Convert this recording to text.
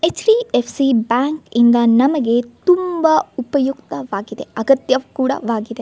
HDFC bank ಇಂದ ನಮಗೆ ತುಂಬಾ ಉಪಯುಕ್ತವಾಗಿದೆ ಅಗತ್ಯ ಕೂಡ ವಾಗಿದೆ.